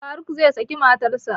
Faruk zai saki matarsa